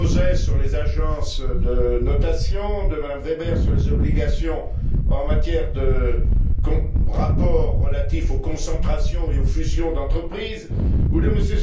Gauzès sur les agences de notation, de M Weber sur les obligations en matière de rapports relatifs aux concentrations et aux fusions d'entreprises, ou de M.